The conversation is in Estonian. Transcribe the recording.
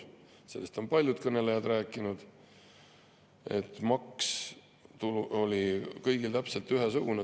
Sellest on palju kõnelejaid rääkinud, et maks oli kõigil täpselt ühesugune.